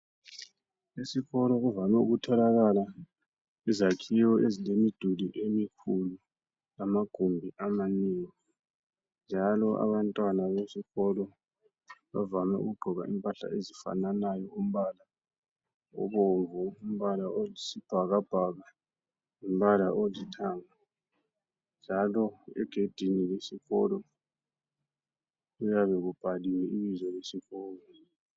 Esikolo kuvame ukutholakala izakhiwo ezilemiduli emikhulu lama gumbi amanengi , njalo abantwana besikolo bavame ukugqoka impahla ezifananayo umbala obomvu umbala oyisibhakabhaka lombala olithanga njalo egedini lesikolo kuyabe kubhaliwe ibizo lesikolo.